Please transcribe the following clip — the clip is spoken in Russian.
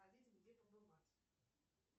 где побывать